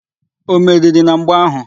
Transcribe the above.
O meriri na mgba áhụ̀?